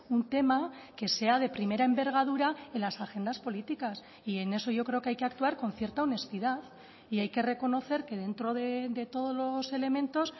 un tema que sea de primera envergadura en las agendas políticas y en eso yo creo que hay que actuar con cierta honestidad y hay que reconocer que dentro de todos los elementos